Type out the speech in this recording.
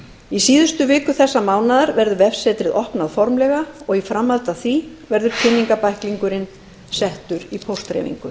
í síðustu viku þessa mánaðar verður vefsetrið opnað formlega og í framhaldi af því verður kynningarbæklingurinn settur í póstdreifingu